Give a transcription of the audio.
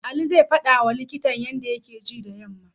Ali zai faɗawa likitan yanda take ji da yammam.